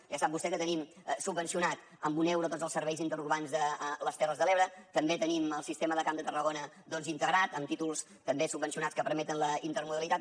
ja sap vostè que tenim subvencionats amb un euro tots els serveis interurbans de les terres de l’ebre també tenim el sistema de camp de tarragona doncs integrat amb títols també subvencionats que permeten la intermodalitat